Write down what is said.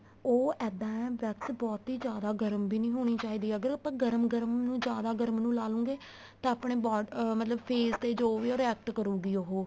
ਉਹ ਇਹਦਾ ਹੈ wax ਬਹੁਤੀ ਜਿਆਦਾ ਵੀ ਗਰਮ ਵੀ ਨਹੀਂ ਹੋਣੀ ਚਾਹੀਦੀ ਅਗਰ ਆਪਾਂ ਗਰਮ ਗਰਮ ਨੂੰ ਜਿਆਦਾ ਗਰਮ ਨੂੰ ਲਾਲੂਗੇ ਤਾਂ ਆਪਣੇ ਮਤਲਬ face ਜੋ ਵੀ ਏ ਉਹ react ਕਰੂਗੀ ਉਹ